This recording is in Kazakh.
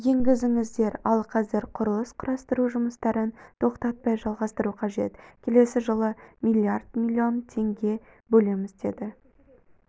енгізіңіздер ал қазір құрылыс-құрастыру жұмыстарын тоқтатпай жалғастыру қажет келесі жылы млрд млн теңге бөлеміз деді